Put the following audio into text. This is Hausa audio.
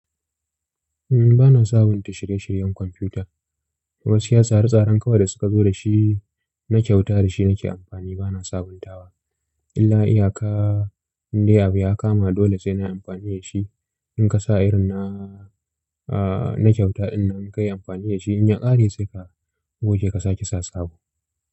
Ba na sabunta shirye-shiryen kwamfuta. Gaskiya tsara tsaran kawai da suka zo da shi na kyauta da shi nake amfani bana sabuntawa. Illa iyaka indai abu ya kama dole sai nayi amfani da shi. In ka sa irin na, aah na kyauta innan kai amfani da shi, in ya ƙare sai ka goge ka sake sa sabo.